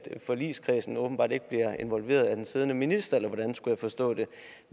forligskredsen åbenbart ikke bliver involveret af den siddende minister eller hvordan skulle jeg forstå det